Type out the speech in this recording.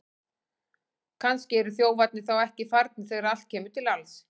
Kannski eru þjófarnir þá ekki farnir þegar allt kemur til alls!